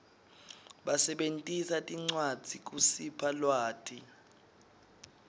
basebentisa tincwadzi kusipha lwati